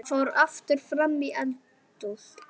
Fór aftur fram í eldhús.